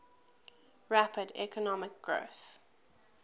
rapid economic growth